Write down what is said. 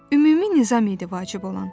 Ümumi nizam idi vacib olan.